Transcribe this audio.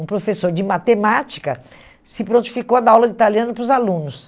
Um professor de matemática se prontificou a dar aula de italiano para os alunos.